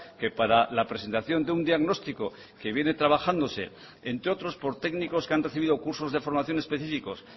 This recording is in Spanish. que para la presentación de un diagnóstico que viene trabajándose entre otros por técnicos que han recibido cursos de formación específicos